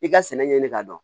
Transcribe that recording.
I ka sɛnɛ ɲɛ ɲini ka dɔn